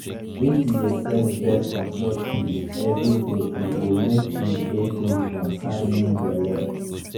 if u de take brith control pills everyday e go mk you de free from carrying belle